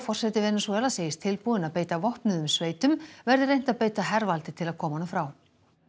forseti Venesúela segist tilbúinn að beita vopnuðum sveitum verði reynt að beita hervaldi til að koma honum frá